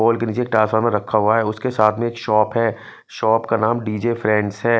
पोल के नीचे ट्रांसफार्मर रखा हुआ है उसके साथ में एक शॉप है। शॉप का नाम डी_जे फ्रेंड्स है।